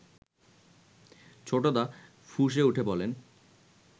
ছোটদা ফুঁসে উঠে বলেন